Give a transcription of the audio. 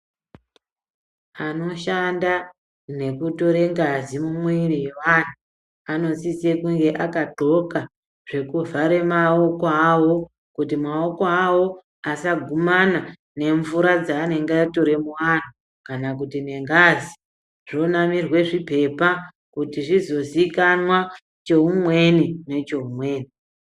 Vanoshanda nekutora ngazi mumiri yevantu anosisa kunge akadxoka zvekuvhara maoko avo kuti maoko avo asagumana nemvura dzanenge atora muvantu kana kuti nengazi zvonamirwa zvipepa kuti zvizozikanwa choumweni nechoumweni.